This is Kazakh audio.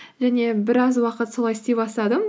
және біраз уақыт солай істей бастадым